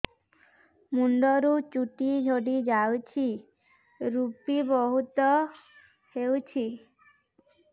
ମୁଣ୍ଡରୁ ଚୁଟି ଝଡି ଯାଉଛି ଋପି ବହୁତ ହେଉଛି